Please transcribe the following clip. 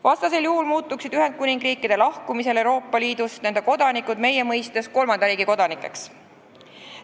Vastasel juhul muutuksid Euroopa Liidust lahkunud Ühendkuningriigi kodanikud meie mõistes kolmanda riigi kodanikeks.